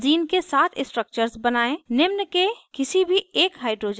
benzene के सात structures बनायें निम्न के किसी भी एक hydrogens को बदलें: